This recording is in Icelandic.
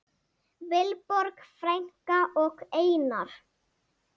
Vilborg frænka og Einar.